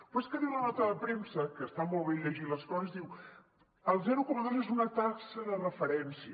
però és que diu la nota de premsa que està molt bé llegir les coses diu el zero coma dos és una taxa de referència